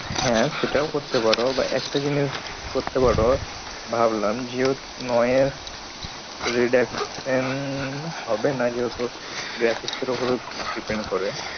হ্যাঁ, সেটাও করতে পারো বা একটা জিনিস করতে পারো ভাবলাম যে redaction হবে না যেহেতু graphics ওপরে depend করে।